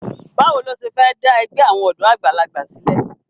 Báwo lo ṣe fẹ́ dá ẹgbẹ́ àwọn ọ̀dọ́ àgbàlagbà sílẹ̀?